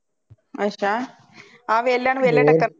ਅੱਛਾ ਆਹ ਵੇਹਲਿਆਂ ਨੂੰ ਵੇਹਲੇ ਟੱਕਰ ਦੇ